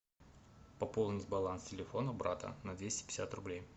пополнить баланс телефона брата на двести пятьдесят рублей